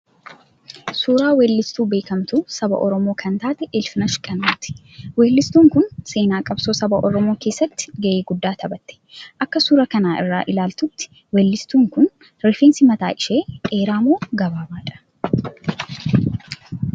Suuraa weellistuu beekamtuu saba Oromoo kan taate Ilfinash Qannooti. Weellistuun kun seenaa qabsoo saba oromoo keessatti ga'ee guddaa taphatte. Akka suuraa kana irraa ilaallutti weellistuun kun rifeensi mataa ishee dheeraa moo gabaabaadha?